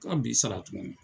Anw b'i sara tukuni.